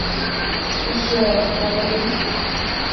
пещера покажи